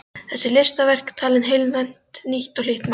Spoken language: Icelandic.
Þessi listaverk tali heilnæmt, nýtt og hlýtt mál.